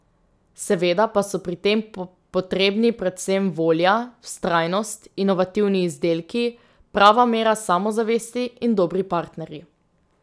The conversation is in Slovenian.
Seveda pa so pri tem potrebni predvsem volja, vztrajnost, inovativni izdelki, prava mera samozavesti in dobri partnerji.